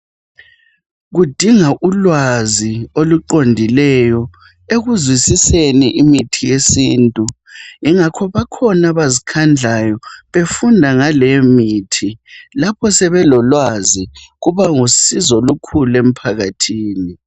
Kudinga ulwazi oluqondileyo ekuzwisiseni imithi yesintu yingakho bakhona abazikhandlayo befunda ngaleyo mithi lapho sebelolwazi kuba lusizo olukhulu emphakathini.